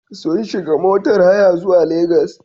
Sun shiga motar haya zuwa Legas.